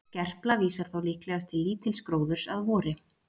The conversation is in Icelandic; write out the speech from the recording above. Skerpla vísar þá líklegast til lítils gróðurs að vori.